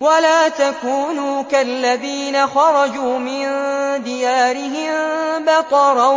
وَلَا تَكُونُوا كَالَّذِينَ خَرَجُوا مِن دِيَارِهِم بَطَرًا